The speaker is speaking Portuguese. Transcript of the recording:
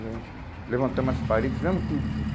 A gente levantamos as parede, fizemos tudo junto.